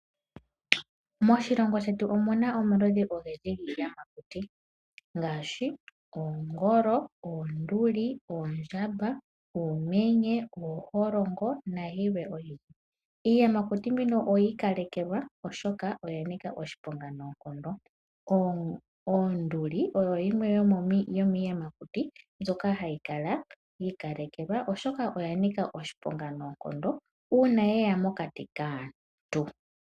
Moshilongo shetu omu na omaludhi ogendji giiyamakuti ngaashi: oongolo, oonduli, oondjamba, oomenye, ooholongo nayilwe oyindji. Iiyamakuti mbino oyi ikalekelwa oshoka oya nika oshiponga noonkondo. Onduli oyo yimwe yomiiyakuti mbyoka hayi kala yi ikalekelwa oshoka oya nika oshiponga noonkondo uuna ye ya mokati kaantu.